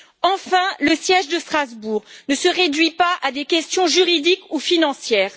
Enfin, le siège de Strasbourg ne se réduit pas à des questions juridiques ou financières.